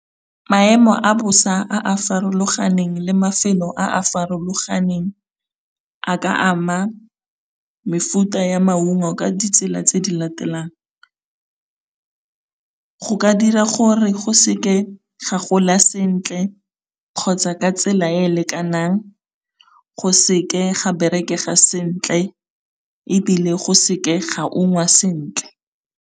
Maemo a bosa a a farologaneng le mafelo a a farologaneng, a ka ama mefuta ya maungo ka ditsela tse di latelang, go ka dira gore go se ke ga gola sentle kgotsa ka tsela e lekanang, go se ke ga berekeaa sentle, ebile go se ke ga ungwa sentle.